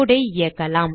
code ஐ இயக்கலாம்